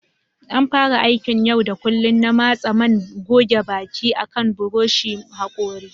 An fara aikin yau da kullun na matse man goge baki akan buroshin hakori.